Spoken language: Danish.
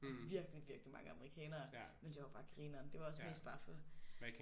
Og virkelig virkelig mange amerikanere men det var bare grineren det var også mest bare for